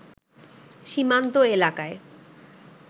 সীমান্ত এলাকায়